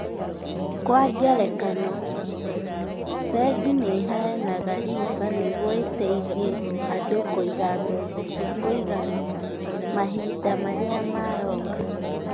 Kwa ngerekano, bengi nĩ iheanaga riba nĩguo iteithie andũ kũiga mbeca cia kũigana mahinda marĩa maroka.